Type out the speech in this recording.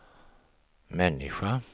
människa